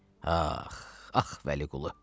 Ax, ax Vəliqulu.